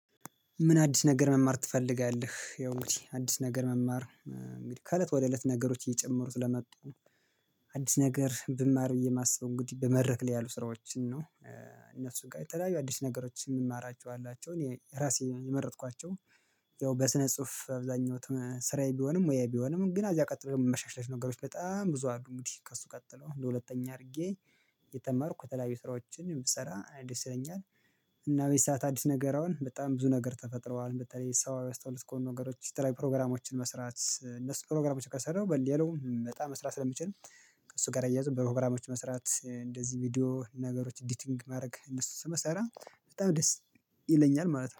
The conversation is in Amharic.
ምን? አዲስ ነገር መማር ትፈልጋለህ ያው አዲስ ነገር መማር እንግዲህ ከእለት ወደ እለት ነገሮች እየጨመሩት ለመጡ አዲስ ነገር ብማር ብዬ የማስበው እንግዲህ በመድረክ ላይ ያሉ ስራዎችን ነው። እነሱ ጋር የተለያዩ አዲስ ነገሮችን የምማራቸው አላቸው እኔ ራሴ የመረጥኳቸው። ያው በስነ ጽሁፍ አብዛኞት ስራዬ ቢሆንም ወይ ቢሆንም ግን አዚያ ቀጥለው መሻሻለሽ ነገሮች በጣም ብዙ አድርጉት ከእሱ ቀጥለው ለሁለተኛ አድርጌ። የተማርኩ የተለያዩ ስራዎችን የምትሰራ አዲስ ይለኛል። እና ወይ ሰዓት አዲስ ነገር አሁን በጣም ብዙ ነገር ተፈጥረዋል በተለይ ሰው ባስተዋወቅኩት ነገሮች ሲተላይ ፕሮግራሞችን መስራት እነሱ ፕሮግራሞችን ከሰራሁ በሌላውም በጣም መስራት ስለሚችል። ከእሱ ጋር እያየሁ በፕሮግራሞች መስራት እንደዚህ ቪዲዮ ነገሮች ኢዲቲንግ ማድረግ እነሱ ስመሰራ በጣም ደስ ይለኛል ማለት ነው